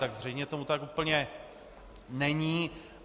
Tak zřejmě tomu tak úplně není.